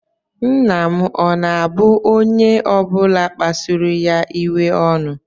Nna m ọ̀ na-abu onye ọ bụla kpasuru ya iwe ọnụ?